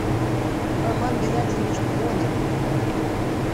роман геннадьевич пронин